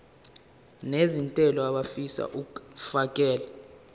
nezentela abafisa uukfakela